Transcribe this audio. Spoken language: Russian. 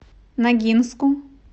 ногинску